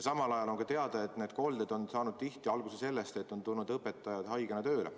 Samal ajal on teada, et need kolded on saanud tihti alguse sellest, et õpetajad on tulnud haigena tööle.